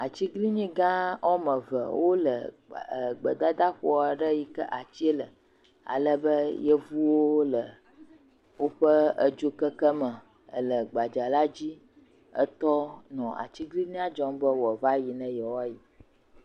Atiglinyi gã wo ame eve wole gbedadaƒo aɖe yike ati le alebe yevuwo le woƒe dzokeke me le gbadza la dzi tɔ nɔ aglinyia dzɔm be woava yi ne yewo ayi